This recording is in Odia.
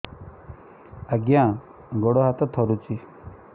ଆଜ୍ଞା ଗୋଡ଼ ହାତ ଥରୁଛି